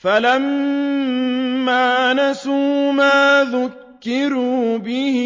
فَلَمَّا نَسُوا مَا ذُكِّرُوا بِهِ